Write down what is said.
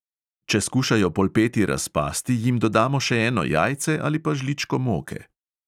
Če skušajo polpeti razpasti, jim dodamo še eno jajce ali pa žličko moke.